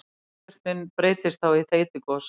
Gosvirknin breytist þá í þeytigos.